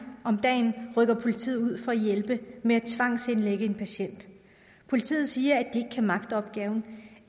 om dagen rykker politiet ud for at hjælpe med at tvangsindlægge en patient politiet siger at kan magte opgaven